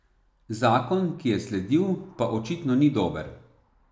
Zakon, ki je sledil, pa očitno ni dober.